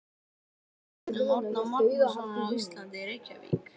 Stofnun Árna Magnússonar á Íslandi, Reykjavík.